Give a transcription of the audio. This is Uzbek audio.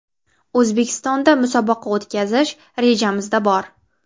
O‘zbekistonda musobaqa o‘tkazish rejamizda bor.